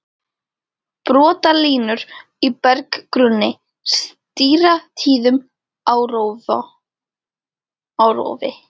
Brotalínur í berggrunni stýra tíðum árrofi.